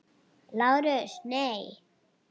LÁRUS: Nei.